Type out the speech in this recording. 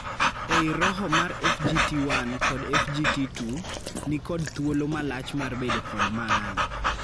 Ei roho mar FGT1 kod FGT2 ,ni kod thulo malach mar bedo kod maana.